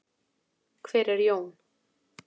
Hver er Jón?